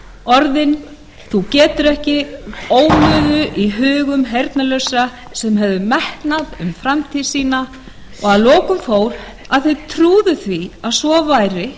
orðin þú getur ekki ómuðu í hugum heyrnarlausra sem höfðu metnað fyrir framtíð sinni og að lokum fóru þau að trúa því að svo væri